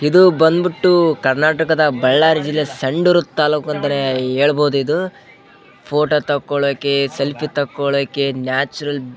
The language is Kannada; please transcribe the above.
ಇದು ಬಂದ್ ಬಿಟ್ಟು ಕರ್ನಾಟಕ ದ ಬಳ್ಳಾರಿ ಜಿಲ್ಲೆಯ ಸಂಡೂರ್ ತಾಲೂಕು ಅಂತಾನೆ ಹೇಳ್ಬಹುದು ಇದು ಫೋಟೋ ತಾಕೋಳೋಕೆ ಸೆಲ್ಫಿ ತಗೋಳೋಕೆ ನ್ಯಾಚುರಲ್‌ --